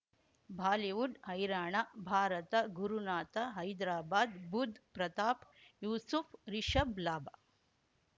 Bollywood ಹೈರಾಣ ಭಾರತ ಗುರುನಾಥ ಹೈದ್ರಾಬಾದ್ ಬುಧ್ ಪ್ರತಾಪ್ ಯೂಸುಫ್ ರಿಷಬ್ ಲಾಭ